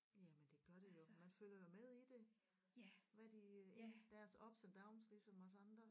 Jamen det gør det jo man følger jo med i det hvad de øh i deres ups og downs ligesom os andre